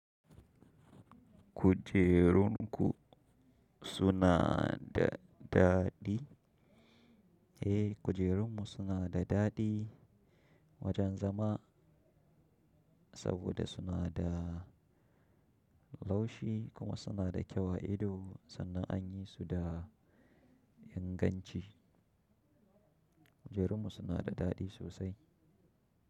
Kujerun ku suna da daɗi? Eh kujerunmu suna da daɗi wajen zama saboda suna da laushi kuma suna da kyau a ido sannan an yi su da inganci. Kujerunmu suna da daɗi sosai.